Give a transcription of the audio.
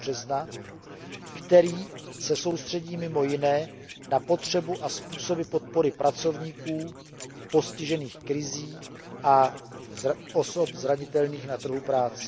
a 20. března, který se soustředí mimo jiné na potřebu a způsoby podpory pracovníků postižených krizí a osob zranitelných na trhu práce.